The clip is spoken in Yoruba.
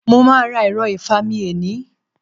Mo máà ra ẹ̀ro ìfami eni